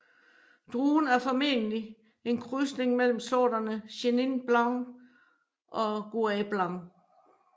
Druen er formentlig en krydsning mellem sorterne Chenin blanc og Gouais blanc